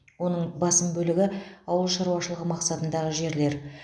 оның басым бөлігі ауыл шаруашылығы мақсатындағы жерлер